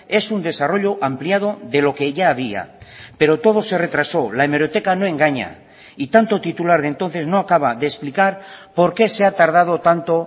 es un desarrollo ampliado de lo que ya había pero todo se retrasó la hemeroteca no engaña y tanto titular de entonces no acaba de explicar por qué se ha tardado tanto